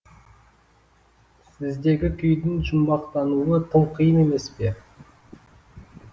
сіздегі күйдің жұмбақтануы тым қиын емес пе